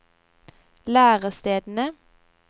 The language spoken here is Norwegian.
lærestedene